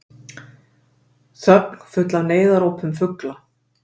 Þögn, full af neyðarópum fugla.